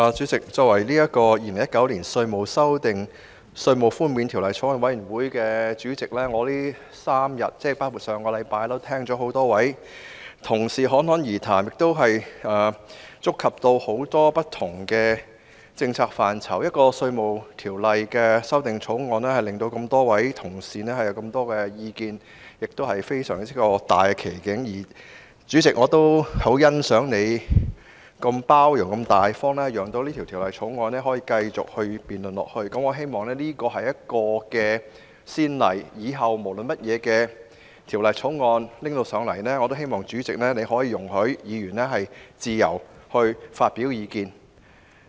主席，作為《2019年稅務條例草案》委員會主席，我這3天聽到很多位同事侃侃而談，觸及很多不同的政策範疇。一項有關《稅務條例》的法案，可以引起這麼多同事發表這麼多意見，真是一大奇景，而我亦十分欣賞主席如此包容和大方，讓這項《2019年稅務條例草案》可以繼續辯論下去。我希望這是一個先例，以後無論甚麼法案提交上來，主席也可以容許議員自由發表意見。